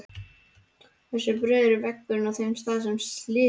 Hversu breiður er vegurinn á þeim stað er slysið varð?